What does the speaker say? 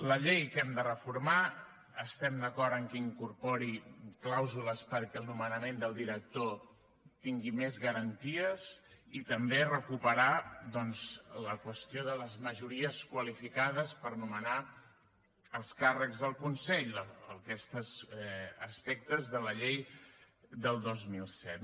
la llei que hem de reformar estem d’acord en que incorpori clàusules perquè el nomenament del director tingui més garanties i també recuperar doncs la qüestió de les majories qualificades per nomenar els càrrecs del consell aquests aspectes de la llei del dos mil set